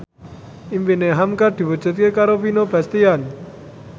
impine hamka diwujudke karo Vino Bastian